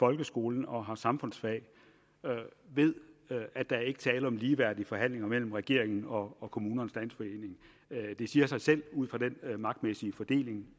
folkeskolen og har samfundsfag ved at der ikke er tale om ligeværdige forhandlinger mellem regeringen og kommunernes landsforening det siger sig selv ud fra den magtmæssige fordeling